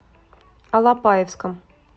алапаевском